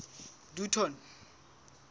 dutton